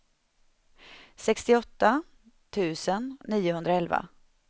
sextioåtta tusen niohundraelva